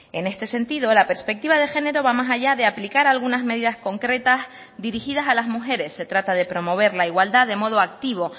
en este sentido la perspectiva de género va más allá de aplicar algunas medidas concretas dirigidas a las mujeres se trata de promover la igualdad de modo activo